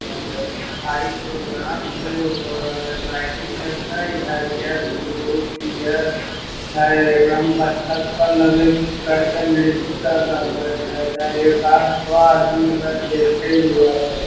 लगय हय की भरी प्रोग्राम कएले हो रहले हय लाइटिंग देखहि हरिहर बुल्लू पियर हय एकरा में बत्तख पर लगल कुछ कर के नृत्य कर रहले हय एइजा एका क सौ आदमी एकरा देखेए वाला हय।